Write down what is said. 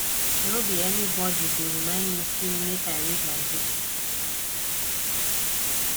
no be anybody go remind me sey make i read my book